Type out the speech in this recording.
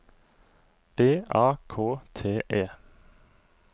V A K T E